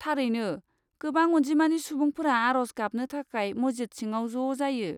थारैनो, गोबां अन्जिमानि सुबुंफोरा आर'ज गाबनो थाखाय मस्जिद सिङाव ज' जायो।